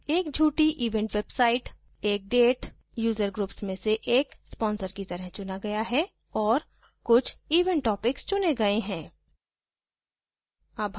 एक झूठी event websit एक date user groups में से एक sponsor की तरह चुना गया है और कुछ event topics चुनें गए हैं